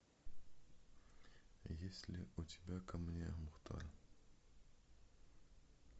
есть ли у тебя ко мне мухтар